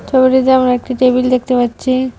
ছবিটিতে আমরা একটি টেবিল দেখতে পাচ্ছি।